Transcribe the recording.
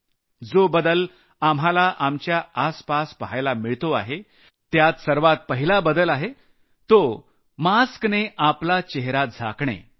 जो बदल आपल्याला आमच्या आसपास पहायला मिळतो आहे त्यात सर्वात पहिला आहे तो मास्क चढवून आपला चेहरा झाकलेला ठेवणं